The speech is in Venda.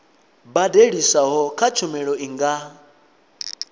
badeliswaho kha tshumelo i nga